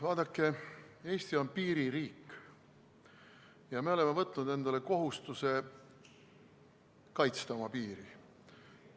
Vaadake, Eesti on piiririik ja me oleme võtnud endale kohustuse kaitsta oma piiri.